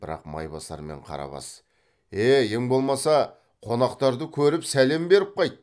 бірақ майбасар мен қарабас е е ең болмаса қонақтарды көріп сәлем беріп қайт